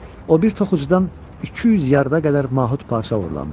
O bir toxucudan 200 yarda qədər mahud parça oğurlamışdı.